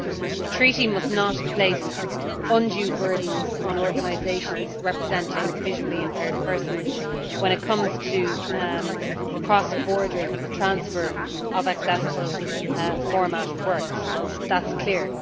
The Treaty must not place undue burdens on organisations representing visually impaired persons when it comes to the cross border transfer of accessible format works that is clear.